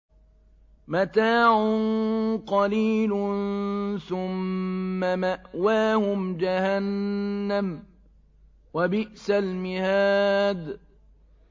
مَتَاعٌ قَلِيلٌ ثُمَّ مَأْوَاهُمْ جَهَنَّمُ ۚ وَبِئْسَ الْمِهَادُ